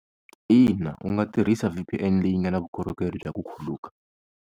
Ina u nga tirhisa V_P_N leyi nga na vukorhokeri bya ku khuluka.